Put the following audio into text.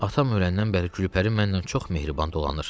Atam öləndən bəri Gülpəri mənlə çox mehriban dolanır.